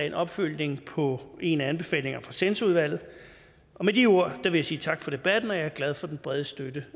en opfølgning på en af anbefalingerne fra censorudvalget med de ord vil jeg sige tak for debatten jeg er glad for den brede støtte